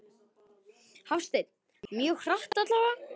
Hafsteinn: Mjög hratt allavega?